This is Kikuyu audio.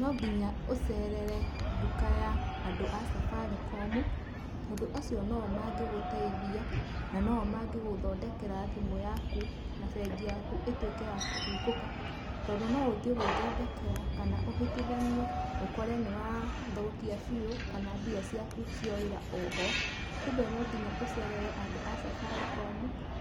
No nginya ũcerere nduka ya andũ a Safaricom, tondũ acio no o mangĩ gũteithia na no o mangigũthondekera thimũ yaku, na bengi yaku ĩtuĩke ya kũhingũka. Tondũ no ũthiĩ gwĩthondekera kana ũhitithanie ũkore nĩ wa thũkia biũ kana ũkore mbia ciaku ciorĩra oho. Kumbe no nginya ũcerere andũ a Safaricom